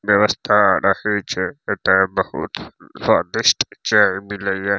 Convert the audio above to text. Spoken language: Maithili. व्यवस्था रहय छै एता बहुत स्वादिष्ट चाय मिलए ये।